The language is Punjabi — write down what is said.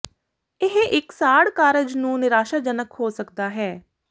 ਇਹ ਇੱਕ ਸਾੜ ਕਾਰਜ ਨੂੰ ਨਿਰਾਸ਼ਾਜਨਕ ਹੋ ਸਕਦਾ ਹੈ